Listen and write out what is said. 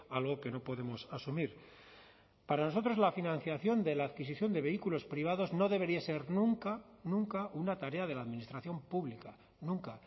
algo que no podemos asumir para nosotros la financiación de la adquisición de vehículos privados no debería ser nunca nunca una tarea de la administración pública nunca